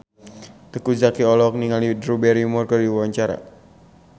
Teuku Zacky olohok ningali Drew Barrymore keur diwawancara